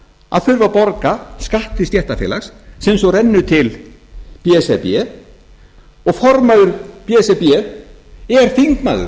að þurfa að borga skatt til stéttarfélags sem svo rennur til b s r b og formaður b s r b er þingmaður